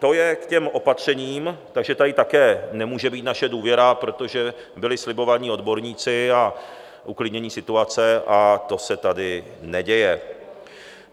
To je k těm opatřením, takže tady také nemůže být naše důvěra, protože byli slibovaní odborníci a uklidnění situace, a to se tady neděje.